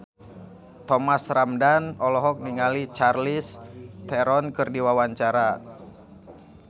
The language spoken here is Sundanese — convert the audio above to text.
Thomas Ramdhan olohok ningali Charlize Theron keur diwawancara